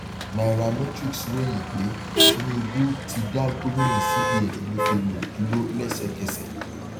cs] nairametrics ròyìn pé tinubu ti dá gómìnà cbn emefiele dúró lẹsẹkẹsẹ